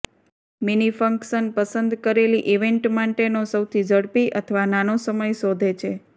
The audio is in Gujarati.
મિનિ ફંક્શન પસંદ કરેલી ઇવેન્ટ માટેનો સૌથી ઝડપી અથવા નાનો સમય શોધે છે